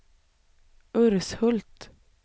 Urshult